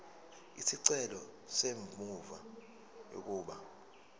isicelo semvume yokuba